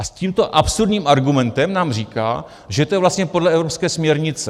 A s tímto absurdním argumentem nám říká, že to je vlastně podle evropské směrnice.